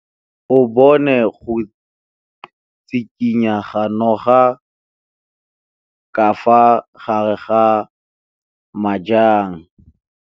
O bone go tshikinya ga noga ka fa gare ga majang.